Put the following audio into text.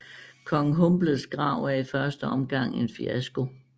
Kong Humbles Grav er i første omgang en fiasko